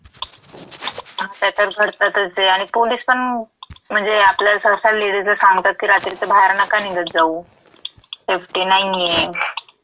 आता तर घडतातचं ये आणि पुलिसपण म्हणजे आपल्या सहसा लेडीज सांगतात की रात्रीचं बाहेर नका निघत जाऊ. सेफ्टी नाहीये.